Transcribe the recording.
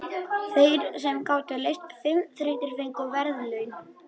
Þeir sem gátu leyst fimm þrautir fengu verðlaun.